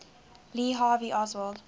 lee harvey oswald